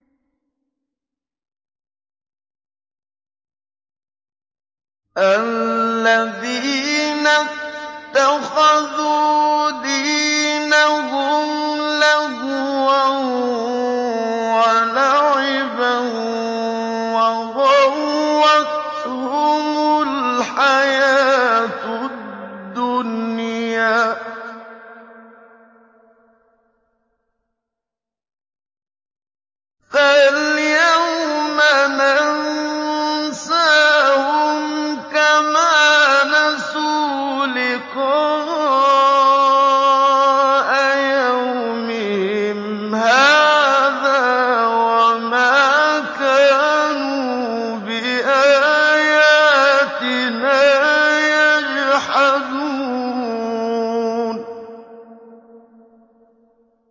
الَّذِينَ اتَّخَذُوا دِينَهُمْ لَهْوًا وَلَعِبًا وَغَرَّتْهُمُ الْحَيَاةُ الدُّنْيَا ۚ فَالْيَوْمَ نَنسَاهُمْ كَمَا نَسُوا لِقَاءَ يَوْمِهِمْ هَٰذَا وَمَا كَانُوا بِآيَاتِنَا يَجْحَدُونَ